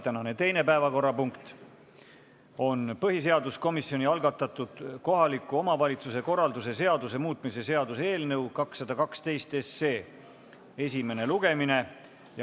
Tänane teine päevakorrapunkt on põhiseaduskomisjoni algatatud kohaliku omavalitsuse korralduse seaduse muutmise seaduse eelnõu 212 esimene lugemine.